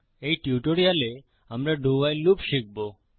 এই টিউটোরিয়ালে আমরা ডো ভাইল লুপ শিখবো